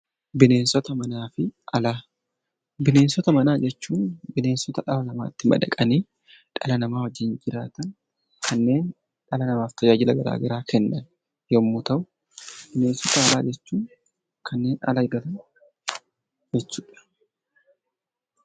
Bineensota manaa fi alaa. Bineensota manaa jechuun bineensota dhala namaatti madaqanii dhala namaa wajjin jiraatan kanneen dhala namaaf tajaajila garaa garaa kennan yemmuu ta'u bineensota alaa jechuun kanneen ala jiraatan jechuudha.